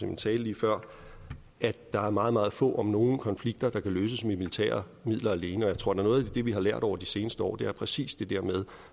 min tale lige før at der er meget meget få om nogen konflikter der kan løses med militære midler alene og jeg tror at noget af det vi har lært over de seneste år er præcis det der med